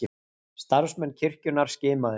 Starfsmenn kirkjunnar skimaðir